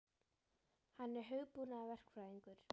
Hann er hugbúnaðarverkfræðingur.